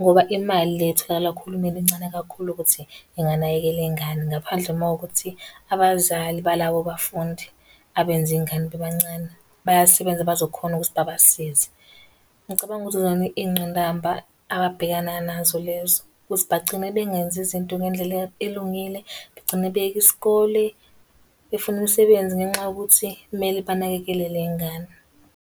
Ngoba imali le etholakala kuhulumeni incane kakhulu ukuthi inganakekela ingane. Ngaphandle uma kuwukuthi abazali balabo bafundi abenze ingane bebancane, bayasebenza bazokhona ukuthi babasize. Ngicabanga ukuthi yizona iy'ngqinamba ababhekana nazo lezo. Ukuthi bagcine bengenzi izinto ngendlela elungile. Bagcine beyeka isikole, befune umsebenzi ngenxa yokuthi kumele banakekele le ngane.